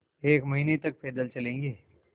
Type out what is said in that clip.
एक महीने तक पैदल चलेंगे